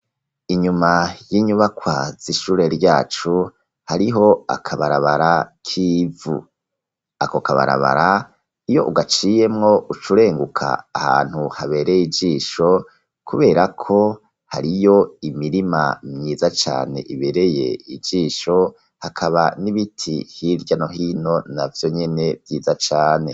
Inyuma y'inyubakwa z'ishure ryacu, hariho akabarabara k'ivu. Ako kabarabara, iyo ugaciyemwo, ucurenguka ahantu habereye ijisho, kubera ko, hariyo imirima myiza cane, ibereye ijisho, hakaba n'ibiti hirya no hino, na vyonyene vyiza cane.